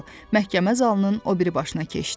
Məhkəmə zalının o biri başına keçdi.